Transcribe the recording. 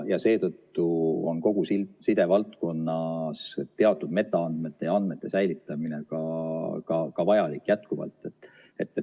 Seetõttu on kogu sidevaldkonnas teatud metaandmete ja andmete säilitamine ka jätkuvalt vajalik.